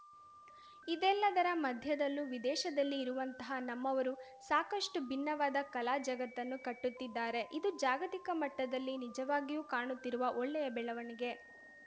ಇದೆಲ್ಲದರ ಮಧ್ಯದಲ್ಲೂ ವಿದೇಶದಲ್ಲಿ ಇರುವಂತಹ ನಮ್ಮವರು ಸಾಕಷ್ಟುಭಿನ್ನವಾದ ಕಲಾ ಜಗತ್ತನ್ನು ಕಟ್ಟುತ್ತಿದ್ದಾರೆ ಇದು ಜಾಗತಿಕ ಮಟ್ಟದಲ್ಲಿ ನಿಜವಾಗಿಯೂ ಕಾಣುತ್ತಿರುವ ಒಳ್ಳೆಯ ಬೆಳವಣಿಗೆ